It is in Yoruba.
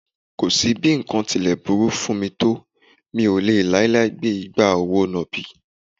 Kò sí bí nǹkan tí lè burú fún mi tó mí ò lè láíláí gbé igbá òwò nàbì